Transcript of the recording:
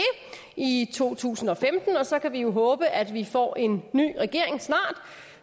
i to tusind og femten og så kan vi jo håbe at vi snart får en ny regering